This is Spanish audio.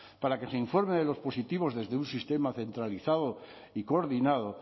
para que se informe de los positivos desde un sistema centralizado y coordinado